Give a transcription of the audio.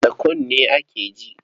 Da kunne ake ji.